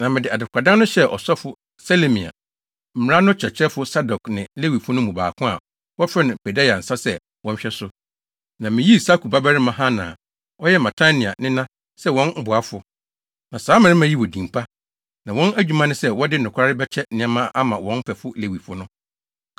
Na mede adekoradan no hyɛɛ ɔsɔfo Selemia, mmara no kyerɛkyerɛfo Sadok ne Lewifo no mu baako a wɔfrɛ no Pedaia nsa sɛ wɔnhwɛ so. Na miyii Sakur babarima Hanan a ɔyɛ Matania nena sɛ wɔn boafo. Na saa mmarima yi wɔ din pa, na wɔn adwuma ne sɛ wɔde nokware bɛkyɛ nneɛma ama wɔn mfɛfo Lewifo no.